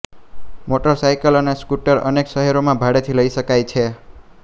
motorcycle અને scooter અનેક શહેરોમાં ભાડેથી લઈ શકાય છે